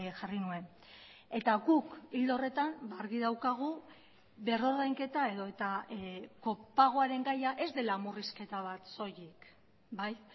jarri nuen eta guk ildo horretan argi daukagu berrordainketa edota kopagoaren gaia ez dela murrizketa bat soilik bai